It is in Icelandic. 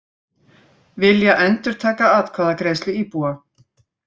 Vilja endurtaka atkvæðagreiðslu íbúa